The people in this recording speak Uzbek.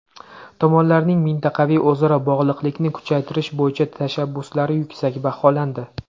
Tomonlarning mintaqaviy o‘zaro bog‘liqlikni kuchaytirish bo‘yicha tashabbuslari yuksak baholandi.